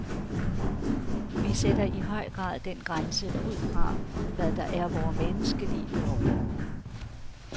Vi sætter i høj grad den grænse ud fra, hvad der er vore menneskelige behov.